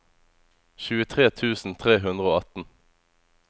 tjuetre tusen tre hundre og atten